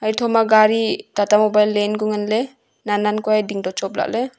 hetho ma gari tata mobile leanku nganley nan nan kua e ding to chop lahley.